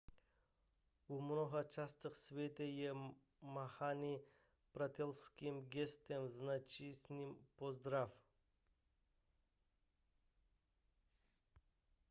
v mnoha částech světa je mávání přátelským gestem značícím pozdrav